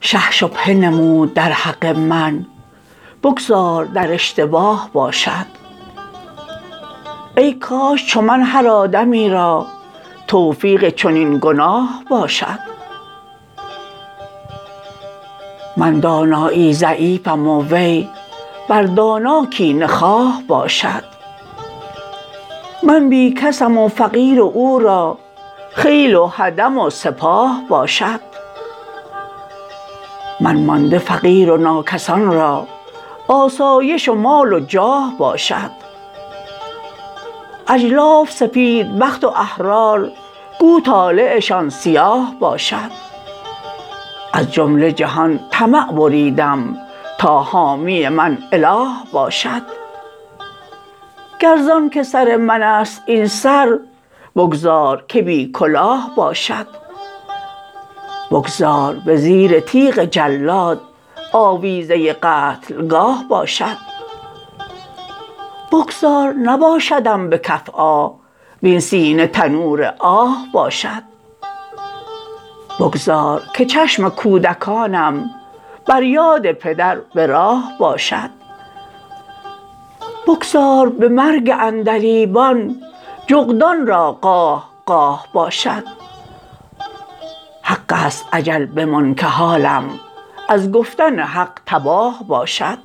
شه شبهه نمود درحق من بگذار در اشتباه باشد ای کاش چو من هر آدمی را توفیق چنین گناه باشد من دانایی ضعیفم و وی بر دانا کینه خواه باشد من بی کسم و فقیر و او را خیل و خدم و سپاه باشد من مانده فقیر و ناکسان را آسایش و مال و جاه باشد اجلاف سفیدبخت و احرار گو طالعشان سیاه باشد از جمله جهان طمع بریدم تا حامی من اله باشد گر زان که سر من است این سر بگذار که بی کلاه باشد بگذار به زیر تیغ جلاد آویزه قتلگاه باشد بگذار نباشدم به کف آه وین سینه تنور آه باشد بگذار که چشم کودکانم بر یاد پدر به راه باشد بگذار به مرگ عندلیبان جغدان را قاه قاه باشد حق است اجل بمان که حالم ازگفتن حق تباه باشد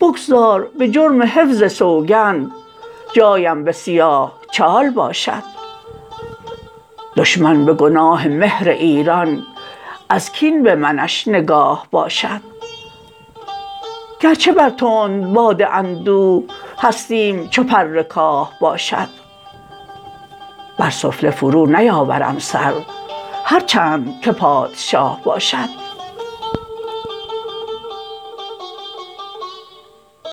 بگذار به جرم حفظ سوگند جایم به سیاه چاه باشد دشمن به گناه مهر ایران ازکین به منش نگاه باشد گرچه بر تندباد اندوه هستیم چو پرکاه باشد بر سفله فرو نیاورم سر هرچند که پادشاه باشد